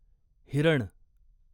हिरण